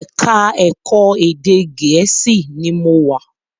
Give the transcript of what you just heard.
Ẹ̀ka-ẹ̀kọ́ Ede Gèésì ni mo wà.